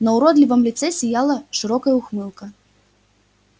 на уродливом лице сияла широкая ухмылка